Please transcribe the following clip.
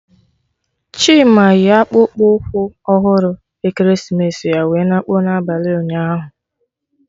Chima yi akpụkpụ ụkwụ ọhụrụ ekeresimesi ya wee na kpụọ n'abalị ụnyaahụ